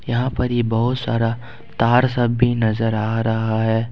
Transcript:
यहां पर ये बहुत सारा तार सब भी नजर आ रहा है।